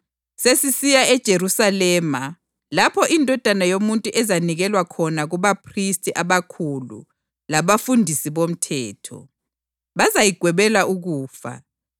“Sesisiya eJerusalema lapho iNdodana yoMuntu ezanikelwa khona kubaphristi abakhulu labafundisi bomthetho. Bazayigwebela ukufa,